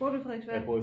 Bor du i Frederiksværk